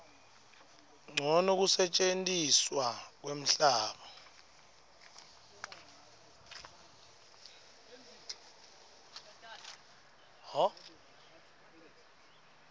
ncono kusetjentiswa kwemhlaba